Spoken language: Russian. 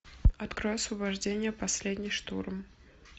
открой освобождение последний штурм